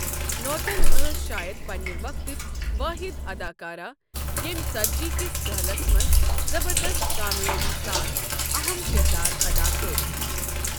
نوتن ٲس شایَد پنٛنہِ وقتٕچ وٲحِد اداکارہ ییٚمۍ ژتجی کِس دٔہلس منٛز زبردست کامیٲبی سان اہم کردار ادا کٔرِ ۔